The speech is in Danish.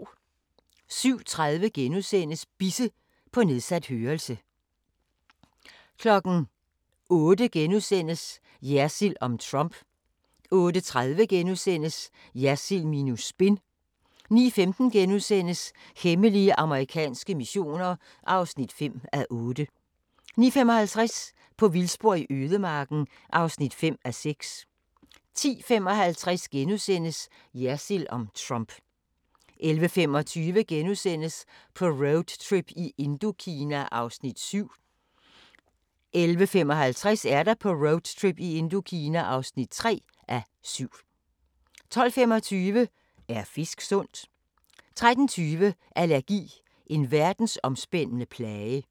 07:30: Bisse – på nedsat hørelse * 08:00: Jersild om Trump * 08:30: Jersild minus spin * 09:15: Hemmelige amerikanske missioner (5:8)* 09:55: På vildspor i ødemarken (5:6) 10:55: Jersild om Trump * 11:25: På roadtrip i Indokina (2:7)* 11:55: På roadtrip i Indokina (3:7) 12:25: Er fisk sundt? 13:20: Allergi – en verdensomspændende plage